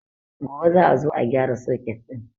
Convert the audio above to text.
Gobe za a zo a gyara soket ɗin